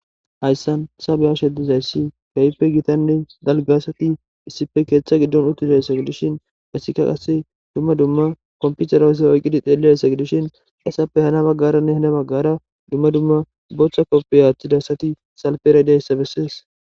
Hayisan ta be'ashe dizayis kehi daligane gitta asati ketha gidoni utizi etika qase duma duma ba kopitere iyikidi xelidaysata gidishin izape yabagara botha kopiya wothida asata gidishin he asati salipera de'eyisa beses